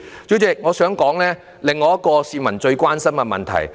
主席，我想談另外一個市民非常關心的問題。